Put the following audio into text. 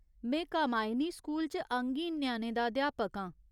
में कामायिनी स्कूल च अंगहीन ञ्याणें दा अध्यापक आं।